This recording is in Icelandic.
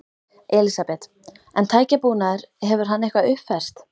Elísabet: En tækjabúnaður, hefur hann eitthvað uppfærst?